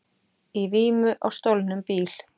Í vímu á stolnum bíl